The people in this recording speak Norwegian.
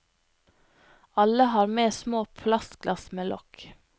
Alle har med små plastglass med lokk.